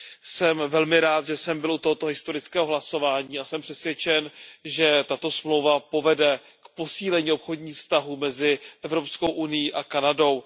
Jsem velmi rád, že jsem byl u tohoto historického hlasování, a jsem přesvědčen, že tato dohoda povede k posílení obchodních vztahů mezi Evropskou unií a Kanadou.